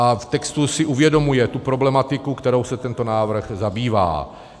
A v textu si uvědomuje tu problematiku, kterou se tento návrh zabývá.